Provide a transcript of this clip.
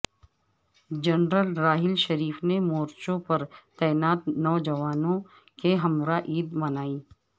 general Raheel Sharif نے مورچوں پر تعینات جوانوں کے ہمراہ عید منائی